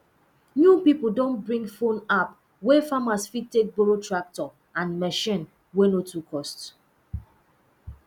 new people don bring phone app wey farmers fit take borrow tractor and machine wey no too cost